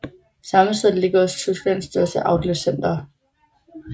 Samme sted ligger også Tysklands største outletcenter